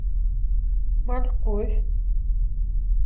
морковь